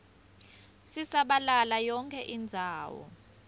sisabalala yonkhe indzawo